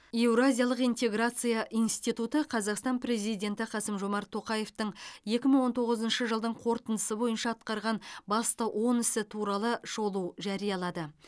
еуразиялық интеграция институты қазақстан президенті қасым жомарт тоқаевтың екі мың он тоғызыншы жылдың қорытындысы бойынша атқарған басты он ісі туралы шолу жариялады